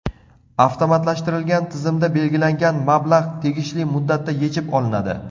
Avtomatlashtirilgan tizimda belgilangan mablag‘ tegishli muddatda yechib olinadi.